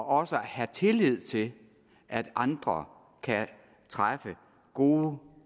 også at have tillid til at andre kan træffe gode